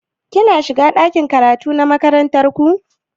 Ki na shiga ɗakin karatu na makarantar ku?